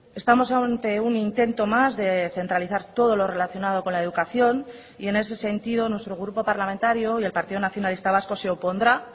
estamos ante un intento más de centralizar todo lo relacionado con la educación y en ese sentido nuestro grupo parlamentario y el partido nacionalista vasco se opondrá